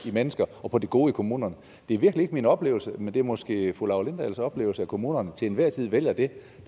i mennesker og på det gode i kommunerne det er virkelig ikke min oplevelse men det er måske fru laura lindahls oplevelse at kommunerne til enhver tid vælger det